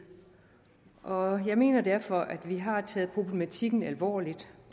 og jeg mener derfor at vi har taget problematikken alvorligt